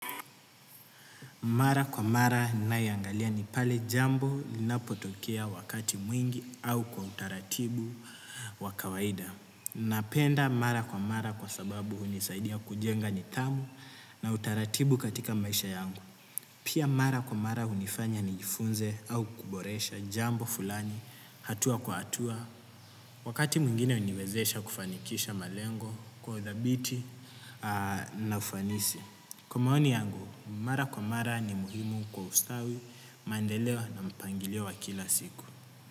Mara kwa mara nayoangalia ni pale jambo linapotokea wakati mwingi au kwa utaratibu wa kawaida. Napenda mara kwa mara kwa sababu hunisaidia kujenga nidhamu na utaratibu katika maisha yangu. Pia mara kwa mara hunifanya nijifunze au kuboresha jambo fulani hatua kwa hatua. Wakati mwingine huniwezesha kufanikisha malengo kwa uthabiti na ufanisi. Kwa maoni yangu, mara kwa mara ni muhimu kwa ustawi, mandeleo na mpangilio wa kila siku.